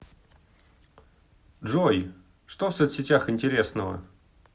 джой что в соцсетях интересного